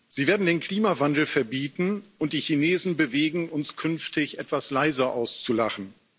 Sie werden den Klimawandel verbieten und die Chinesen bewegen, uns künftig etwas leiser auszulachen.